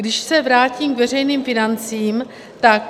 Když se vrátím k veřejným financím, tak...